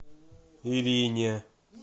ирине